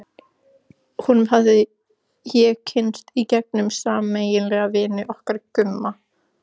Honum hafði ég kynnst í gegnum sameiginlega vini okkar Gumma.